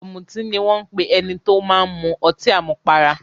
"Ọ̀mùtí" ni wọ́n ń pe ẹni tó máa ń mu ọtí àmupara.